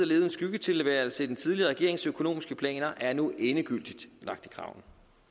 levet en skyggetilværelse i den tidligere regerings økonomiske planer er nu endegyldigt lagt i graven